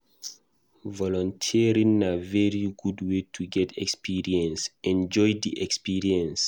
Volunteering na very good way to get experience, enjoy di experience